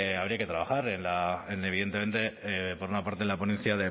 habría que trabajar en la en evidentemente por una parte la ponencia